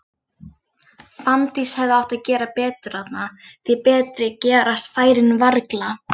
Fanndís hefði átt að gera betur þarna, því betri gerast færin varla.